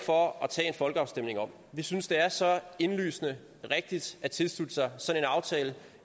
for at tage en folkeafstemning om vi synes det er så indlysende rigtigt at tilslutte sig sådan en aftale